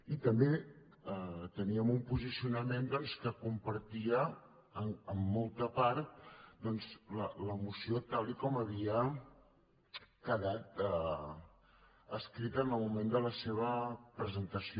i també teníem un posicionament doncs que compartia en molta part la moció tal com havia quedat escrita en el moment de la seva presentació